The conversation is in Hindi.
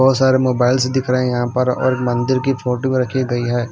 बहोत सारे मोबाइल्स दिख रहा है यहां पर और मंदिर की फोटो भी रखी गई है।